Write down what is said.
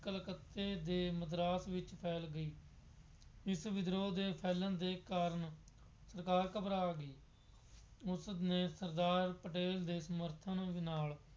ਕਲਕੱਤੇ ਅਤੇ ਮਦਰਾਸ ਵਿੱਚ ਫੈਲ ਗਈ। ਇਸ ਵਿਦਰੋਹ ਦੇ ਫੈਲਣ ਦੇ ਕਾਰਨ ਸਰਕਾਰ ਘਬਰਾ ਗਈ। ਉਸਨੇ ਸਰਦਾਰ ਪਟੇਲ ਦੇ ਸਮਰਥਨ ਨਾਲ